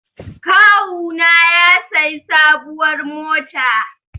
Kawuna ya sayi sabuwar mota